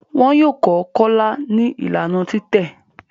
Wón yọ kò Kola ní Ìlànà titẹ